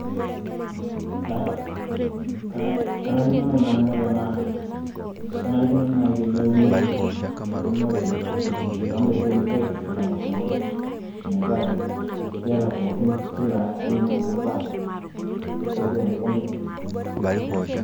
kanarikino naaji nanu tenaa, kenarikino teneuni eunore oo daikin aaitushul, inkabilaritin pookin metaa keeta pookin kila aina, edaa tiatua emukunda enye.